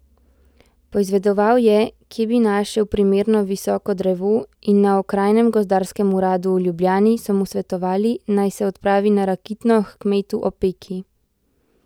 Poizvedoval je, kje bi našel primerno visoko drevo, in na okrajnem gozdarskem uradu v Ljubljani so mu svetovali, naj se odpravi na Rakitno h kmetu Opeki.